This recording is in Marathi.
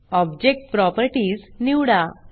ऑब्जेक्ट प्रॉपर्टीज निवडा